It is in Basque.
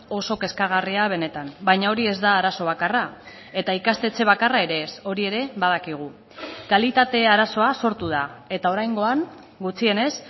oso kezkagarria benetan baina hori ez da arazo bakarra eta ikastetxe bakarra ere ez hori ere badakigu kalitate arazoa sortu da eta oraingoan gutxienez